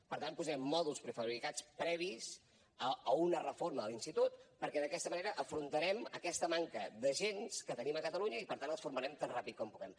per tant posarem mòduls prefabricats previs a una reforma de l’institut perquè d’aquesta manera enfrontarem aquesta manca d’agents que tenim a catalunya i per tant els formarem tan ràpid com puguem